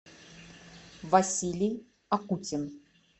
василий акутин